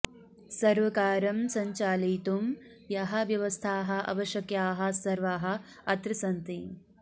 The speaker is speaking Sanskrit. सर्वकारं सञ्चालयितुं याः व्यवस्थाः अवश्यकाः सर्वाः अत्र सन्ति